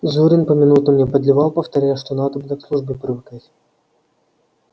зурин поминутно мне подливал повторяя что надобно к службе привыкать